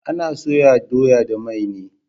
Ana soya doya da mai ne